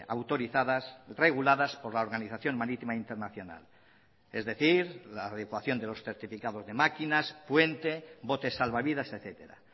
autorizadas reguladas por la organización marítima internacional es decir la adecuación de los certificados de máquinas puente botes salvavidas etcétera